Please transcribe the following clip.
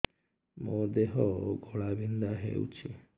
ମୋ ଦେହ ଘୋଳାବିନ୍ଧା ହେଉଛି